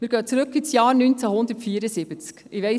Wir gehen ins Jahr 1974 zurück.